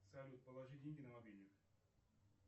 салют положи деньги на мобильник